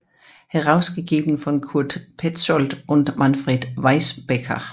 Herausgegeben von Kurt Pätzold und Manfred Weißbecker